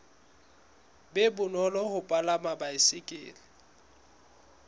be bonolo ho palama baesekele